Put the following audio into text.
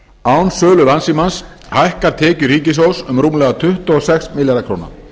án sölu landssímans hækka tekjur ríkissjóðs um rúmlega tuttugu og sex milljarða króna